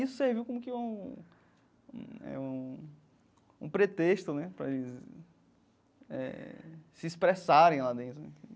Isso serviu como que um um é um um pretexto né para eles eh se expressarem lá dentro.